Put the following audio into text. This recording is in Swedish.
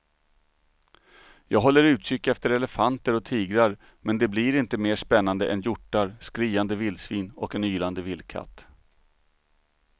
Jag håller utkik efter elefanter och tigrar men det blir inte mer spännande än hjortar, skriande vildsvin och en ylande vildkatt.